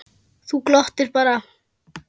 Þú glottir bara!